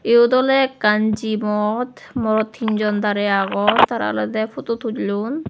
eyod oly ekkan gym mot morot tinjon dare agon tara olode puto tullon.